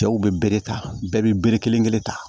Cɛw bɛ bere ta bɛɛ bɛ bere kelen kelen ta